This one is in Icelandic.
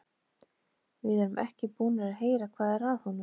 Við erum ekki búnir að heyra hvað er að honum.